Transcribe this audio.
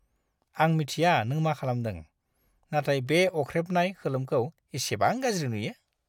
आं मिथिया नों मा खालामदों, नाथाय बे अख्रेबनाय खोलोमखौ इसेबां गाज्रि नुयो!